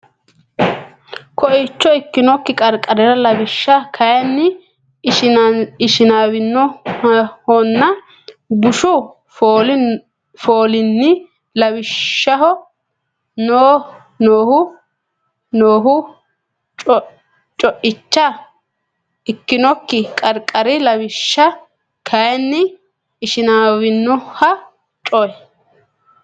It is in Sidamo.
Co icha ikkinokki qarqari Lawishsha kayinni ishinaawinohonna bushu fooli ani lawishshaho nooho Co icha ikkinokki qarqari Lawishsha kayinni ishinaawinohonna Co.